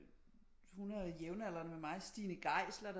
Hun er jævnaldrende med mig Stine Geisler